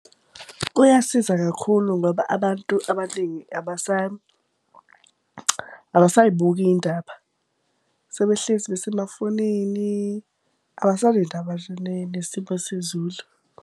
Kuyasiza kakhulu ngoba abantu abaningi abasay'buki iy'ndaba sebehlezi besemafonini abasanendaba nje nesimo sezulu.